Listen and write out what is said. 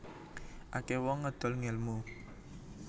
Akeh wong ngedol ngelmu